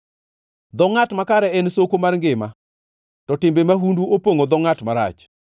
Dho ngʼat makare en soko mar ngima, to timbe mahundu opongʼo dho ngʼat marach.